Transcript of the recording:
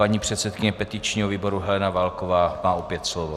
Paní předsedkyně petičního výboru Helena Válková má opět slovo.